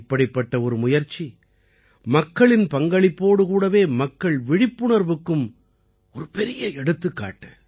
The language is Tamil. இப்படிப்பட்ட ஒரு முயற்சி மக்களின் பங்களிப்போடு கூடவே மக்கள் விழிப்புணர்வுக்கும் ஒரு பெரிய எடுத்துக்காட்டு